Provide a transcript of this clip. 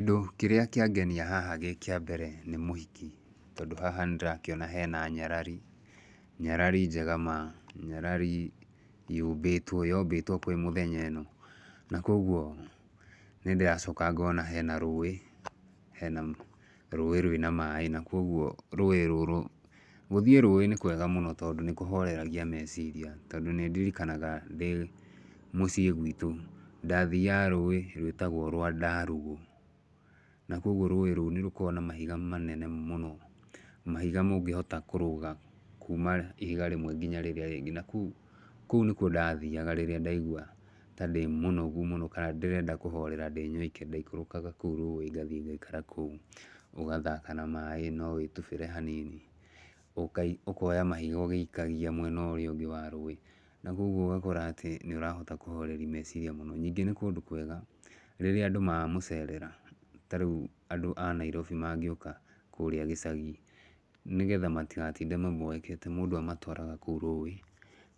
Kĩndũ kĩrĩa kĩangenia haha gĩ kĩa mbere nĩ mũhiki. Tondũ haha nĩ ndĩrakĩona hena nyarari, nyarari njega ma, nyarari yũmbĩtwo yombĩtwo kwĩ mũthenya ĩno. Na koguo, nĩ ndĩracoka ngona hena rũũĩ, hena rũũĩ rwĩna maaĩ. Na koguo rũũĩ rũrũ, gũthiĩ rũũĩ nĩ kwega mũno, tondũ nĩ kũhoreragia meciria. Tondũ nĩ ndirikanaga ndĩ mũciĩ gwitũ, ndathaga rũũrĩ rwĩtagwo rwa ndarugũ. Na koguo rũũĩ nĩ rũkoragwo na mahiga manene mũno, mahiga mũngĩhota kũrũga kuuma ihiga rĩmwe nginya rĩrĩa rĩngĩ. Na kũu kũu nĩ kuo ndathiaga rĩrĩa ndaigua ta ndĩ mũnogu mũno, kana ndĩrenda kũhorera ndĩ nyoike, ndaikũrũkaga kũu rũũĩ ngathi ngaikara kũu. Ũgathaka na maaĩ, no wĩtubĩre hanini. Ũkoya mahiga ũgĩikagia mwena ũrĩa ũngĩ wa rũũĩ. Na koguo ũgakora atĩ nĩ ũrahota kũhoreri meciria mũno. Ningĩ nĩ kũndũ kwega. Rĩrĩa andũ mamũcerera, ta rĩu andũ a Nairobi mangĩũka kũũrĩa gĩcagi, nĩgetha matigatinde mamboekete, mũndũ amatwaraga kũu rũũĩ,